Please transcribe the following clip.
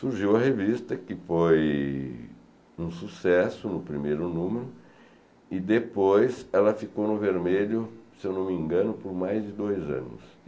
Surgiu a revista que foi um sucesso, no primeiro número, e depois ela ficou no vermelho, se eu não me engano, por mais de dois anos.